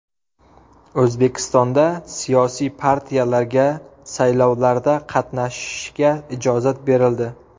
O‘zbekistonda siyosiy partiyalarga saylovlarda qatnashishiga ijozat berildi.